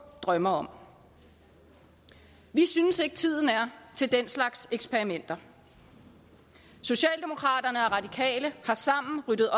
drømmer om vi synes ikke tiden er til den slags eksperimenter socialdemokraterne og radikale har sammen ryddet